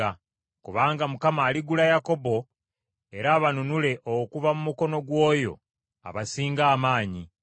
Kubanga Mukama aligula Yakobo era abanunule okuva mu mukono gw’oyo abasinga amaanyi.